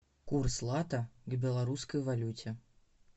курс лата к белорусской валюте